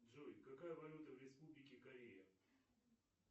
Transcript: джой какая валюта в республике корея